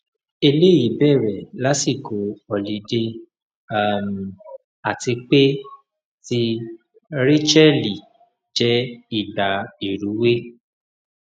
eleyi bere lasiko họlidé um ati pe ti rachelle je ìgbà ìrúwé